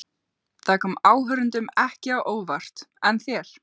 Það kom áhorfendum ekki á óvart en þér?